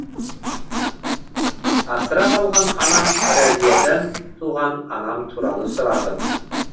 асырап алған анам разиядан туған анам туралы сұрадым